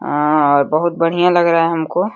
आ बहुत बढ़िया लग रहा है हमको।